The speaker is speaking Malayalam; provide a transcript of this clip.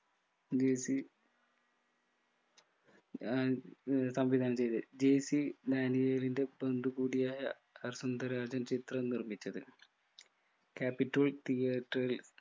ജെ സി ആഹ് ഏർ സംവിധാനം ചെയ്തത് ജെ സി ഡാനിയേലിൻ്റെ ബന്ധു കൂടിയായ വസന്തരാജൻ ചിത്രം നിർമിച്ചത് capitol theatre ൽ